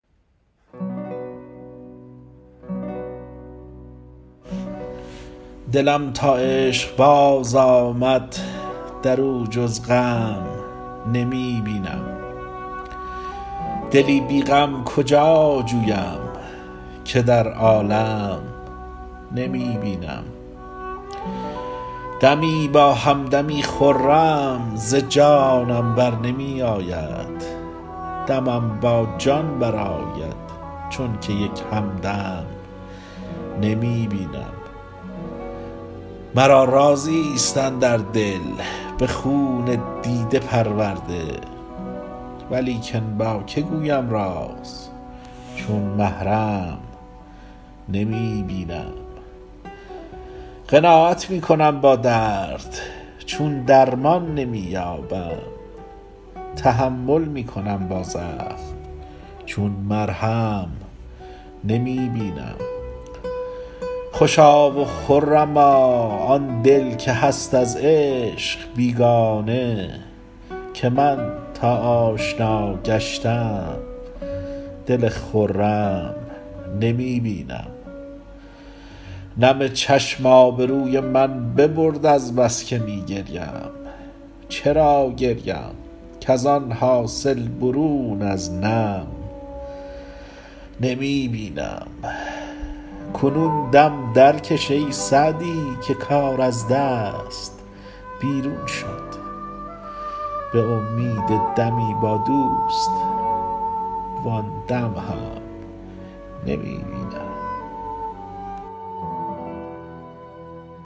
دلم تا عشق باز آمد در او جز غم نمی بینم دلی بی غم کجا جویم که در عالم نمی بینم دمی با هم دمی خرم ز جانم بر نمی آید دمم با جان برآید چون که یک هم دم نمی بینم مرا رازی ست اندر دل به خون دیده پرورده ولیکن با که گویم راز چون محرم نمی بینم قناعت می کنم با درد چون درمان نمی یابم تحمل می کنم با زخم چون مرهم نمی بینم خوشا و خرما آن دل که هست از عشق بیگانه که من تا آشنا گشتم دل خرم نمی بینم نم چشم آبروی من ببرد از بس که می گریم چرا گریم کز آن حاصل برون از نم نمی بینم کنون دم درکش ای سعدی که کار از دست بیرون شد به امید دمی با دوست وآن دم هم نمی بینم